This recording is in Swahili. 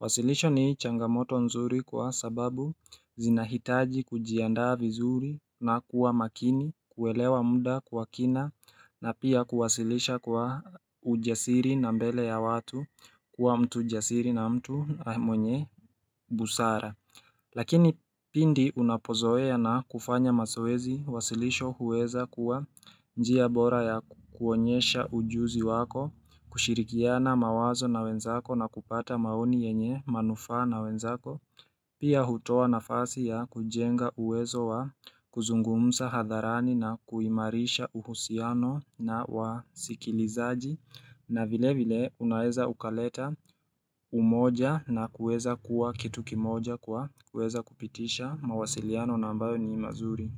uwasilisho ni changamoto nzuri kwa sababu zinahitaji kujiandaa vizuri na kuwa makini kuelewa muda kwa kina na pia kuwasilisha kwa ujasiri na mbele ya watu kuwa mtu jasiri na mtu mwenye busara Lakini pindi unapozoea na kufanya mazoeezi uwasilisho huweza kuwa njia bora ya kuonyesha ujuzi wako, kushirikiana mawazo na wenzako na kupata maoni yenye manufaa na wenzako, Pia hutoa nafasi ya kujenga uwezo wa kuzungumza hadharani na kuimarisha uhusiano na wa sikilizaji na vile vile unaweza ukaleta umoja na kuweza kuwa kitu kimoja kwa kuweza kupitisha mawasiliano na ambayo ni mazuri.